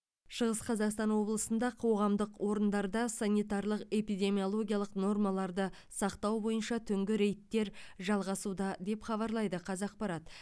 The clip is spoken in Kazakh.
шығыс қазақстан облысында қоғамдық орындарда санитарлық эпидемиологиялық нормаларды сақтау бойынша түнгі рейдтер жалғасуда деп хабарлайды қазақпарат